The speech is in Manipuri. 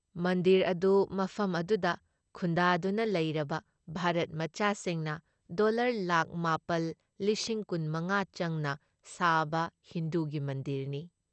ꯃꯟꯗꯤꯔ ꯑꯗꯨ ꯃꯐꯝ ꯑꯗꯨꯗ ꯈꯨꯟꯗꯥꯗꯨꯅ ꯂꯩꯔꯕ ꯚꯥꯔꯠ ꯃꯆꯥꯁꯤꯡꯅ ꯗꯣꯜꯂꯔ ꯂꯥꯛ ꯃꯄꯥꯜ ꯂꯤꯁꯤꯡ ꯀꯨꯟ ꯃꯉꯥ ꯆꯪꯅ ꯁꯥꯕ ꯍꯤꯟꯗꯨꯒꯤ ꯃꯟꯗꯤꯔꯅꯤ ꯫